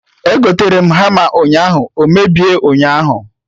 Egotere m hama ụnyaahụ, o mebie ụnyaahụ